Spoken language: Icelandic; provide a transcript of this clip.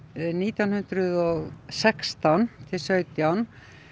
nítján hundruð og sextán til sautján